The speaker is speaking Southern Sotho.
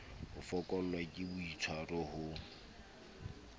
ho fokollwa ke boitswaro ho